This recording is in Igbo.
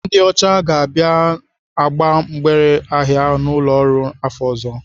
Ndị ọcha ga-abịa agba mgbere ahịa n'ụlọ ọrụ afọ ọzọ.